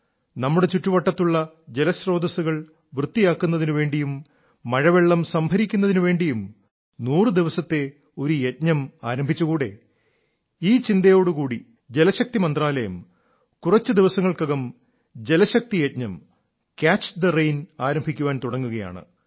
നമ്മുടെ ചുറ്റുവട്ടത്തുള്ള ജലസ്രോതസ്സുകൾ വൃത്തിയാക്കുന്നതിനു വേണ്ടിയും മഴവെള്ളം സംഭരിക്കുന്നതിനു വേണ്ടിയും നൂറു ദിവസത്തെ ഒരു യജ്ഞം ആരംഭിച്ചുകൂടേ ഈ ചിന്തയോടും കൂടി ജലശക്തി മന്ത്രാലയം കുറച്ചു ദിവസങ്ങൾക്കകം ജലശക്തിയജ്ഞം ക്യാച്ച് ദ റെയിൻ ആരംഭിക്കാൻ തുടങ്ങുകയാണ്